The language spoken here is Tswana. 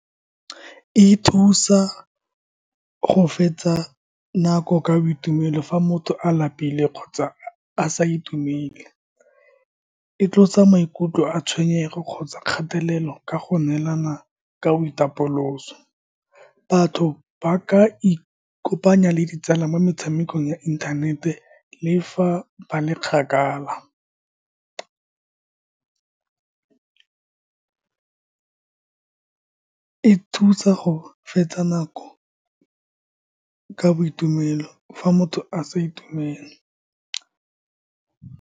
E thusa go fetsa nako ka boitumelo fa motho a lapile kgotsa a sa itumele. E tlosa maikutlo a tshwenyego kgotsa kgatelelo ka go neelana ka boitapoloso. Batho ba ka ikopanya le ditsala mo metshamekong ya inthanete le fa ba le kgakala. E thusa go fetsa nako ka boitumelo, fa motho a sa itumele.